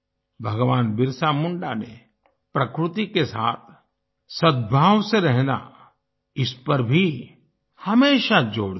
भगवान बिरसा मुंडा ने प्रकृति के साथ सद्भाव से रहना इस पर भी हमेशा जोर दिया